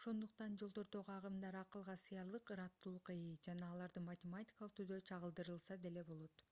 ошондуктан жолдордогу агымдар акылга сыярлык ыраттуулукка ээ жана аларды математикалык түрдө чагылдырылса деле болот